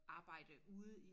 Arbejde ude i